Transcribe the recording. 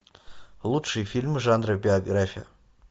лучшие фильмы жанра биография